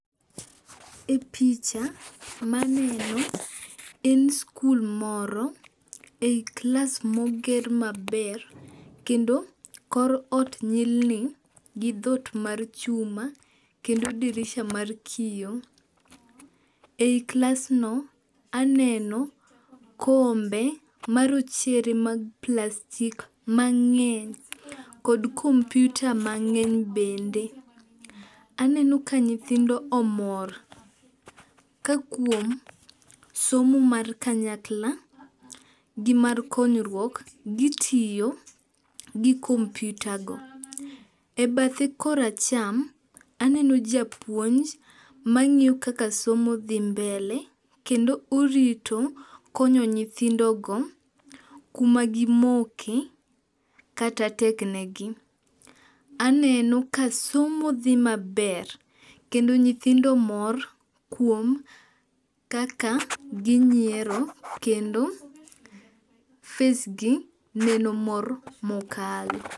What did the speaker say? E picha maneno, en skul moro e klas moger maber kendo kor ot nyilni gi dhot mar chuma, kendo dirisha mar kiyo. Ei klasno, aneno kombe marochere mag plastik mang'eny kod kompyuta mang'eny bende. Aneno ka nyithindo omor ka kuom somo mar kanyakla, gimar konyruok, gitiyo gi kompyutago. E bathe koracham, aneno japuonj mang'iyo kaka somo dhi mbele kendo orito konyo nyithindogo kuma gimoke, kata tek negi. Aneno ka somo dhi maber kendo nyithindo mor kuom kaka ginyiero kendo face gi neno mor mokalo.